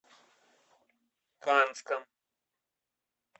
канском